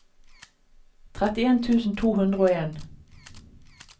trettien tusen to hundre og en